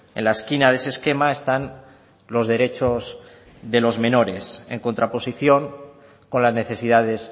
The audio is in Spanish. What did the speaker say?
en la esquina de ese esquema están los derechos de los menores en contraposición con las necesidades